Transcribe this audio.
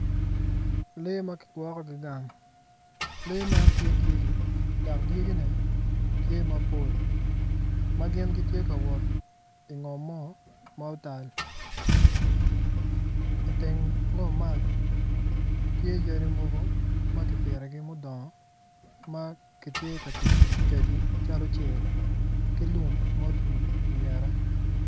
Lee ma kigwokkogi gang lee man tye dyeggi dok dyeggine tye mapol ma gin gitye ka wot ingom mo ma otal iteng ngom man tye yadi mogo ma kipitogi ma gudongo ma ki tye ka tic kedgi calo cel ki lum ma otwii ingette